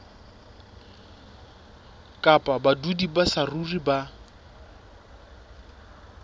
kapa badudi ba saruri ba